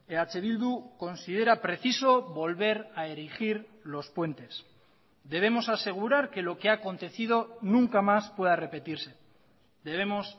eh bildu considera preciso volver a erigir los puentes debemos asegurar que lo que ha acontecido nunca más pueda repetirse debemos